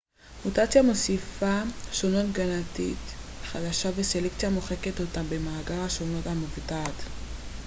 מוטציה מוסיפה שונות גנטית חדשה וסלקציה מוחקת אותה ממאגר השונות המבוטאת